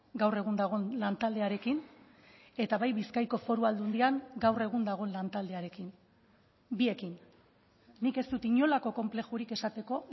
gaur egun dagoen lantaldearekin eta bai bizkaiko foru aldundian gaur egun dagoen lantaldearekin biekin nik ez dut inolako konplexurik esateko